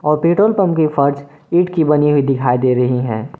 और petrol pump की फर्ज ईट की बनी हुई दिखाई दे रही हैं।